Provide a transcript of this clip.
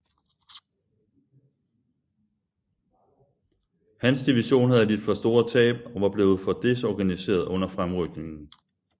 Hans division havde lidt for store tab og var blevet for desorganiseret under fremrykningen